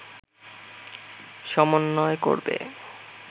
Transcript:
সমন্বয় করবে